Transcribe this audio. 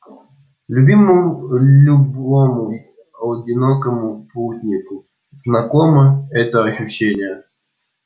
любому одинокому путнику знакомо это ощущение